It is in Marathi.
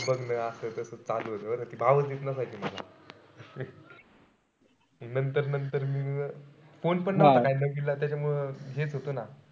बघणं असं तास चालू होत बरं का. भावचं देत नसायची मला. नंतर नंतर मी phone पण नव्हता kind of दिला त्याच्यामुळं घेत होतो ना,